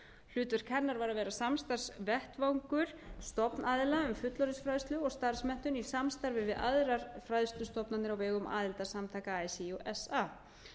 hlutverk hennar var að vera samstarfsvettvangur stofnaðila um fullorðinsfræðslu og starfsmenntun í samstarfi við aðrar fræðslustofnanir á vegum samtaka así og fa